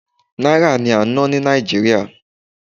náírà ni a n na ni nigeria